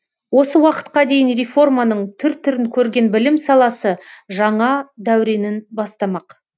осы уақытқа дейін реформаның түр түрін көрген білім саласы жаңа дәуренін бастамақ